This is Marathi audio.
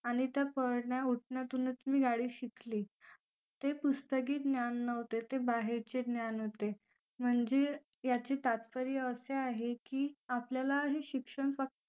आणि त्या पडण्या उठण्यातूनच मी गाडी शिकले ते पुस्तके ज्ञान नव्हते ते बाहेरचे ज्ञान होते म्हणजे याचे तात्पर्य असे आहे की आपल्याला हे शिक्षण फक्त